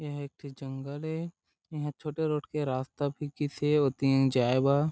एहा एक ठी जंगल ए इहाँ छोटे रोड के रास्ता भी गिसे ओ दिन जाये बर--